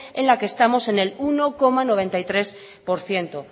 en la que estamos en el uno coma noventa y tres por ciento